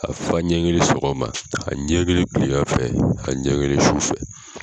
A fa ɲɛ kelen sɔgɔma, a ɲɛ kelen tilagan fɛ , a ɲɛ kelen su fɛ.